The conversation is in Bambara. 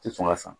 Tɛ sɔn ka sɔn